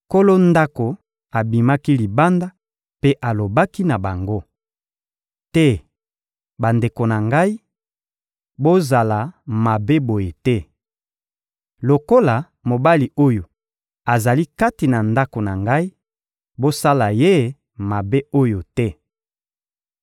Nkolo ndako abimaki libanda mpe alobaki na bango: — Te, bandeko na ngai, bozala mabe boye te! Lokola mobali oyo azali kati na ndako na ngai, bosala ye mabe oyo te.